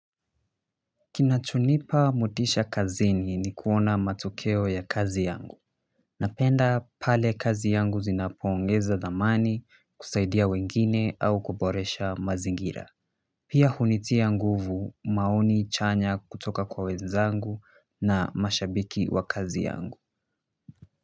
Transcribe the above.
Kinachonipa motisha kazini ni kuona matokeo ya kazi yangu napenda pale kazi zangu zinapoongeza thamani kusaidia wengine au kuboresha mazingira pia hunitia nguvu maoni chanya kutoka kwa wenzangu na mashabiki wa kazi yangu.